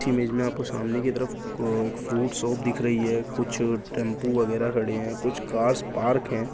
इस इमेज में आपको सामने की तरफ क एक फ्रूट शॉप दिख रही है कुछ टैंपू वगैरह खड़े हैं कुछ कार्स पार्क हैं।